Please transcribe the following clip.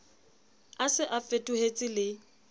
a se a fetohetse le